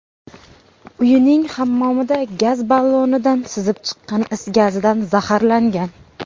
uyining hammomida gaz ballonidan sizib chiqqan is gazidan zaharlangan.